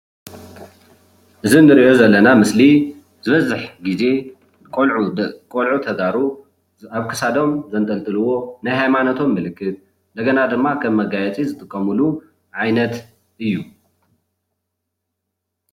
እዚ ንሪኦ ዘለና ምስሊ ዝበዝሕ ግዜ ቆልዑ ቆልዑ ተጋሩ አብ ክሳዶም ዘንጠልጥልዎ ናይ ሃይማኖቶም ምልክት እንደገና ድማ ከም መጋየጺ ዝጥቀምሉ ዓይነት እዩ።